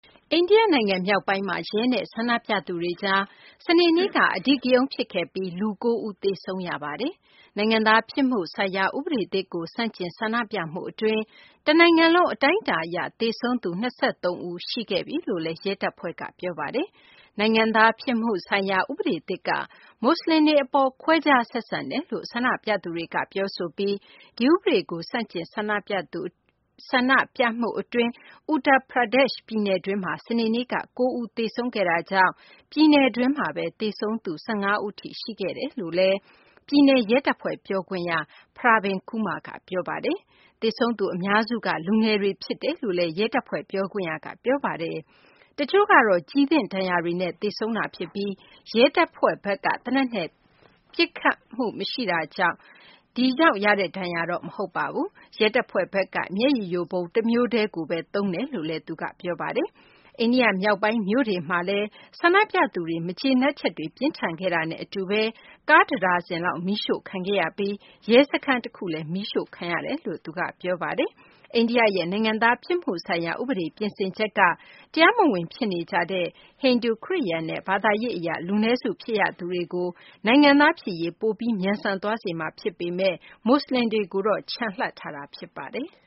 အိန္ဒိယနိုင်ငံ မြောက်ပိုင်းမှာ ရဲနဲ့ ဆန္ဒပြသူတွေကြား စနေနေ့က အဓိကရုဏ်း ဖြစ်ခဲ့ပြီး လူ ၉ ဦး သေဆုံးခဲ့ရပါတယ်။ နိုင်ငံသားဖြစ်မှုဆိုင်ရာ ဥပဒေသစ်ကို ဆန့်ကျင် ဆန္ဒပြမှုအတွင်း တနိုင်ငံလုံး အတိုင်းအတာအရ သေဆုံးသူ ၂၃ ဦး ရှိသွားပြီလို့လည်း ရဲတပ်ဖွဲ့က ပြောပါတယ်။ နိုင်ငံသားဖြစ်မှုဆိုင်ရာ ဥပဒေသစ်က မွတ်စလင်တွေအပေါ် ခွဲခြားဆက်ဆံတယ်လို့ ဆန္ဒပြသူတွေက ပြောဆိုပြီး ဒီဥပဒေကို ဆန့်ကျင် ဆန္ဒပြမှုအတွင်း Uttar Pradesh ပြည်နယ်တွင်းမှာ စနေနေ့က ၉ ဦး သေဆုံးခဲ့တာကြောင့် ပြည်နယ်တွင်း သေဆုံးသူ ၁၅ ဦး ရှိသွားပြီလို့လည်း ပြည်နယ်ရဲတပ်ဖွဲ့ ပြောခွင့်ရ Pravin Kumar က ပြောပါတယ်။ သေဆုံးသူ အများစုက လူငယ်တွေ ဖြစ်တယ်လို့လည်း ရဲတပ်ဖွဲ့ ပြောခွင့်ရက ပြောပါတယ်။ တချို့ကတော့ ကျည်သင့်ဒဏ်ရာတွေနဲ့ သေဆုံးတာဖြစ်ပြီး ရဲတပ်ဖွဲ့ဘက်က သေနတ်နဲ့ ပစ်ခတ်တာကြောင့် ရတဲ့ဒဏ်ရာတော့ မဟုတ်ပါဘူး။ ရဲတပ်ဖွဲ့ဘက်က မျက်ရည်ယိုဗုံး တမျိုးတည်းကိုပဲ အသုံးပြုတယ်လို့လည်း သူက ပြောပါတယ်။ အိန္ဒိယ မြောက်ပိုင်းမြို့တွေဖြစ်တဲ့ Rampur၊ Sambhal၊ Muzaffarnagar၊ Bijnore နဲ့ Kanpur မြို့တို့မှာလည်း ဆန္ဒပြသူတွေ မကျေနပ်ချက်တွေ ပြင်းထန်ခဲ့တာနဲ့အတူ ကားတဒါဇင်လောက် မီးရှို့ခံခဲ့ရပြီး ရဲစခန်းတခုလည်း မီးရှို့ခံခဲ့ရတယ်လို့ သူက ပြောပါတယ်။ အိန္ဒိယရဲ့ နိုင်ငံသားဖြစ်မှုဆိုင်ရာ ဥပဒေ ပြင်ဆင်ချက်က အိန္ဒိယမှာ တရားမဝင် ဖြစ်နေကြတဲ့ ဟိန္ဒူ၊ ခရစ်ယာန်နဲ့ ဘာသာရေးအရ လူနည်းစု ဖြစ်ရသူတွေကို နိုင်ငံသားဖြစ်ရေး ပိုပြီး မြန်ဆန်သွားစေမှာ ဖြစ်ပေမယ့်လည်း မွတ်စလင်တွေ အတွက်တော့ ချန်လှပ်ထားတာ ဖြစ်ပါတယ်။